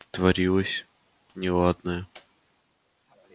творилось неладное